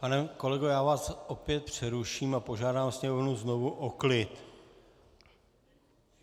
Pane kolego, já vás opět přeruším a požádám sněmovnu znovu o klid.